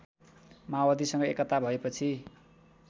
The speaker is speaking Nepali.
माओवादीसँग एकता भएपछि